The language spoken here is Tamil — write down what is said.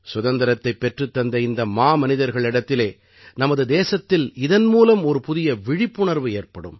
சுதந்திரத்தைப் பெற்றுத் தந்த இந்த மாமனிதர்களிடத்திலே நமது தேசத்தில் இதன் மூலம் ஒரு புதிய விழிப்புணர்வு ஏற்படும்